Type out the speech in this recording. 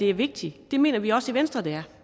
er vigtigt det mener vi også i venstre det